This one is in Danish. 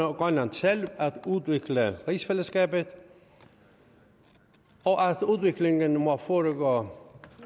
og grønland selv at udvikle rigsfællesskabet og at udviklingen må foregå